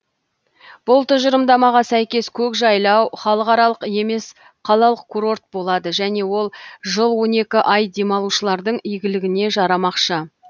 бұл тұжырымдамаға сәйкес көкжайлау халықаралық емес қалалық курорт болады және ол жыл он екі ай демалушылардың игіліне жарамақшы